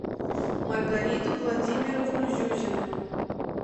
маргариту владимировну зюзину